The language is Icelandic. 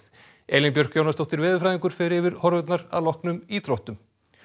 Elín Björk Jónasdóttir veðurfræðingur fer yfir horfurnar að loknum íþróttum